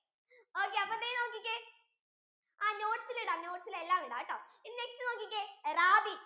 okay അപ്പൊ ദേ നോക്കിക്കേ ആ notes യിൽ ഇടാം notes യിൽ എല്ലാം ഇടാട്ടോ ഇനി next നോക്കിക്കേ rabi